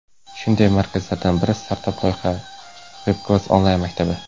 Shunday markazlardan biri startap loyiha Webclass onlayn maktabi.